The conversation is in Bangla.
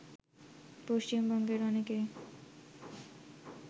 পশ্চিমবঙ্গের অনেকে